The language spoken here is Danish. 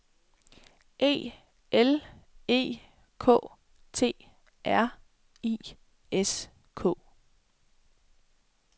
E L E K T R I S K